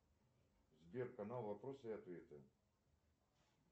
сбер канал вопросы и ответы